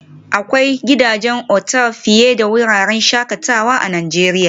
Akwai gidajen otal fiye da wuraren shakatawa a Najeriya